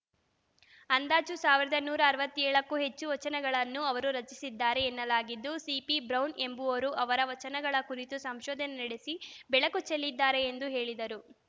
ಅಂದಾಜು ಸಾವಿರದ ನೂರ ಅರವತ್ತ್ ಏಳಕ್ಕೂ ಹೆಚ್ಚು ವಚನಗಳನ್ನು ಅವರು ರಚಿಸಿದ್ದಾರೆ ಎನ್ನಲಾಗಿದ್ದು ಸಿಪಿಬ್ರೌನ್‌ ಎಂಬುವರು ಅವರ ವಚನಗಳ ಕುರಿತು ಸಂಶೋಧನೆ ನಡೆಸಿ ಬೆಳಕು ಚೆಲ್ಲಿದ್ದಾರೆ ಎಂದು ಹೇಳಿದರು